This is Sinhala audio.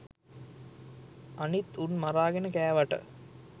අනිත් උන් මරාගෙන කෑවට